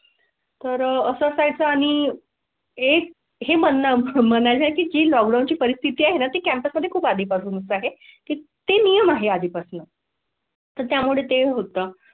तर असाय चं आणि एक हे म्हणण्या ची लॉकडाऊनची लॉकडाऊनची परिस्थिती आहे ना? ती कॅम्पस मध्ये खूप आधीपासूनच आहे की ते नियम आहे आधीपासून. त्यामुळे ते होतं तर असाय चं आणि.